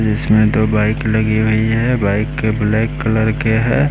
इसमें दो बाइक लगी हुई है बाइक के ब्लैक कलर के है।